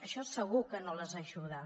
això segur que no les ajuda